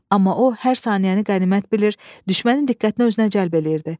Amma o hər saniyəni qənimət bilir, düşmənin diqqətini özünə cəlb edirdi.